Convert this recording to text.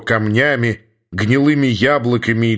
камнями гнилыми яблоками